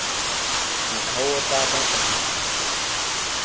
mokgwa o o tla bakang